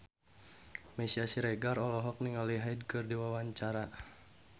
Meisya Siregar olohok ningali Hyde keur diwawancara